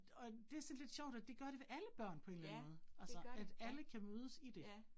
Og det sådan lidt sjovt, at det gør det ved alle børn på en eller anden måde altså, at alle kan mødes i det